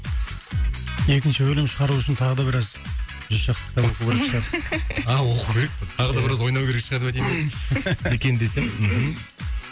екінші бөлім шығару үшін тағы да біраз жүз шақты кітап оқу керек шығар а оқу керек пе тағы да біраз ойнау керек шығар деп айтайын деп екен десем